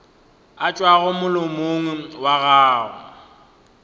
a tšwago molomong wa gago